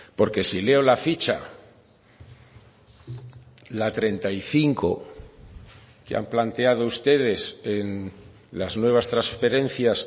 porque si leo la ficha la treinta y cinco que han planteado ustedes en las nuevas transferencias